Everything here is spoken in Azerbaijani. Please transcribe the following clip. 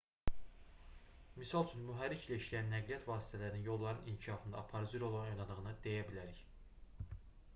misal üçün mühərriklə işləyən nəqliyyat vasitələrinin yolların inkişafında aparıcı rol oynadığını deyə bilərik